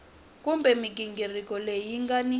kumbe mighingiriko leyi nga ni